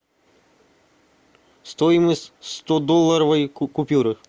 стоимость стодолларовой купюры